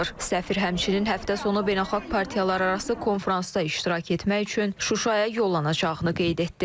Səfir həmçinin həftə sonu beynəlxalq partiyalararası konfransda iştirak etmək üçün Şuşaya yollanacağını qeyd etdi.